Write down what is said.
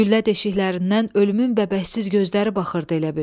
Güllə deşiklərindən ölümün bəbəzsiz gözləri baxırdı elə bil.